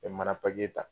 N bɛ mana papiye ta